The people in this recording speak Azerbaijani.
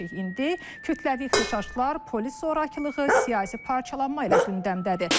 İndi kütləvi ixtişaşlar, polis zorakılığı, siyasi parçalanma ilə gündəmdədir.